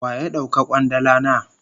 Waya dauka kwandala na?